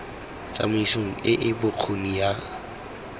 tsamaisong e e bokgoni ya